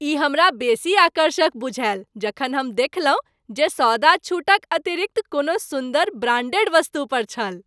ई हमरा बेसी आकर्षक बुझायल जखन हम देखलहुँ जे सौदा छूटक अतिरिक्त कोनो सुन्दर, ब्रांडेड वस्तु पर छल।